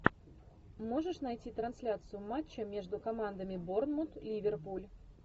можешь найти трансляцию матча между командами борнмут ливерпуль